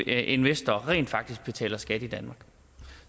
investorer rent faktisk betaler skat i danmark